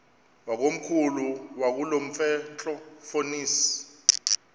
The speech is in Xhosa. wakomkhulu wakulomfetlho fonis